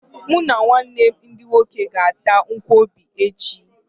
Mụ na ụmụnne m ndị nwoke ga-ata nkwọbi echi.